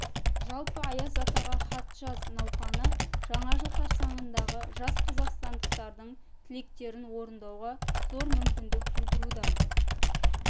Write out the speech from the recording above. жалпы аяз атаға хат жаз науқаны жаңа жыл қарсаңындағы жас қазақстандықтардың тілектерін орындауға зор мүмкіндік тудыруда